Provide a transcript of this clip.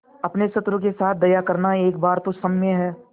अपने शत्रु के साथ दया करना एक बार तो क्षम्य है